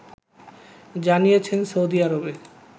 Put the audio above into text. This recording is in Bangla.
জানিয়েছেন সৌদি আরবে